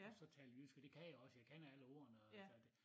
Og så tale jysk og det kan jeg også jeg kan alle ordene og så det